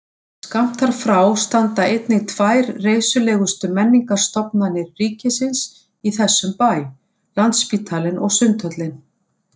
Skammt þar frá standa einnig tvær reisulegustu menningarstofnanir ríkisins í þessum bæ, landsspítalinn og sundhöllin.